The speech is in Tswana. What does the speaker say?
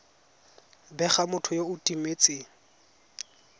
bega motho yo o timetseng